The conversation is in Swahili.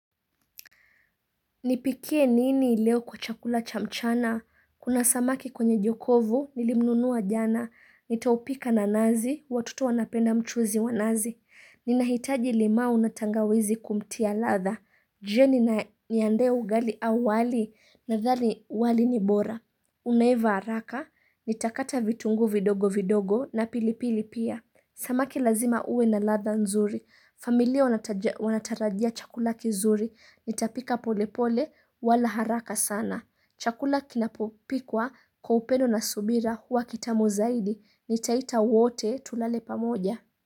Nipikie nini leo kwa chakula cha mchana. Kuna samaki kwenye jokovu, nilimnunua jana. Nitaupika na nazi, watoto wanapenda mchuzi wa nazi. Ninahitaji limau na tangawizi kumtia ladha. Jioni ni niande ugali au wali nadhani wali ni bora. Unaiva haraka, nitakata vitunguu vidogo vidogo na pilipili pia. Samaki lazima uwe na ladha nzuri. Familia wataja wanatarajia chakula kizuri. Nitapika polepole wala haraka sana. Chakula kinapopikwa kwa upendo na subira huwa kitamu zaidi. Nitaita wote tulale pamoja.